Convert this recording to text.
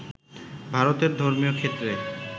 ভারতের ধর্মীয় ক্ষেত্রে